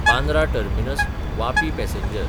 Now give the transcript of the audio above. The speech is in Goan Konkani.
बांद्रा टर्मिनस–वापी पॅसेंजर